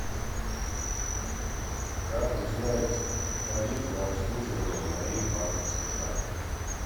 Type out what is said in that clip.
как узнать тариф на обслуживание моей банковской карты